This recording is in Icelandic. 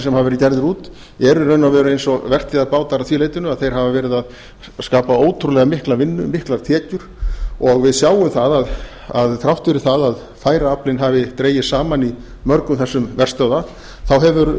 sem hafa verið gerðir út eru í raun og veru eins og vertíðarbátar að því leytinu að þeir hafa verið að skapa ótrúlega mikla vinnu miklar tekjur og við sjáum það að þrátt fyrir að færaaflinn hafi dregist saman í mörgum þessara verstöðva hefur